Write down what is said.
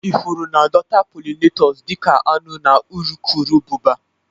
Ifuru na-adọta pollinators dị ka aṅụ na urukurubụba.